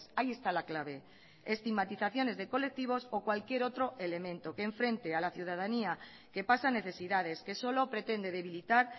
ahí está la clave estigmatizaciones de colectivos o cualquier otro elemento que enfrente a la ciudadanía que pasa necesidades que solo pretende debilitar